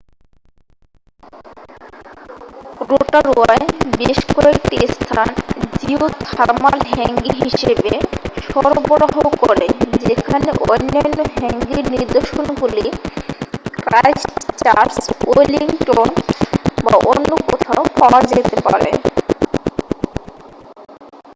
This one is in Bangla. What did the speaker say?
রোটারুয়ায় বেশ কয়েকটি স্থান জিওথার্মাল হ্যাঙ্গি হিসাবে সরবরাহ করে যেখানে অন্যান্য হ্যাঙ্গির নির্দশনগুলি ক্রাইস্টচার্চ ওয়েলিংটন বা অন্য কোথাও পাওয়া যেতে পারে